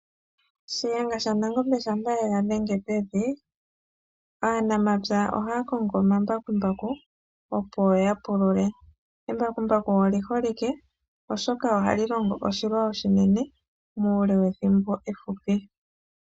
Shiyenga shaNangobe shampa ye ga dhenge pevi, aanamapya ohaya kongo omambakumbaku, opo ya pulule. Embakumbaku olyi holike oshoka ohali longo oshilwa oshinene, muule wethimbo ehupi.